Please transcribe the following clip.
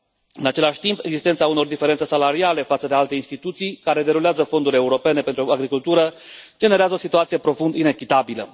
În același timp, existența unor diferențe salariale față de alte instituții care derulează fonduri europene pentru agricultură generează o situație profund inechitabilă.